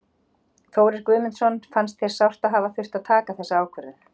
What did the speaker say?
Þórir Guðmundsson: Fannst þér sárt að hafa þurft að taka þessa ákvörðun?